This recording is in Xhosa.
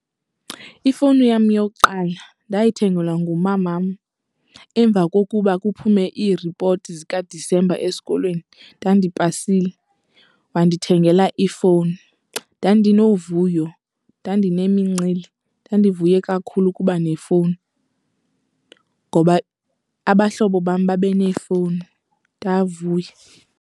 Ifowuni yam yokuqala ndayithengelwa ngumamam emva kokuba kuphume ii-report zikaDisemba esikolweni. Ndandipasile wandithengela ifowuni. Ndandinovuyo, ndandinemincili, ndandivuya kakhulu ukuba nefowuni ngoba abahlobo bam babe neefowuni. Ndavuya.